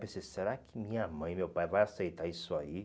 Pensei, será que minha mãe, meu pai vai aceitar isso aí?